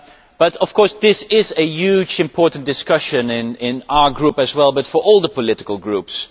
But, of course, this is a hugely important discussion in our Group as well and for all the political groups.